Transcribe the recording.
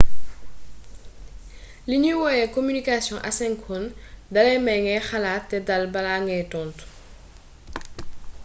li ñuy woowe communication asynchrone dalay may ngay xalaat te dal balaa ngay tontu